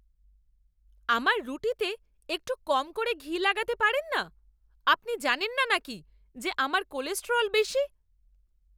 আমার রুটিতে একটু কম করে ঘি লাগাতে পারেন না? আপনি জানেন না নাকি যে আমার কোলেস্টেরল বেশি?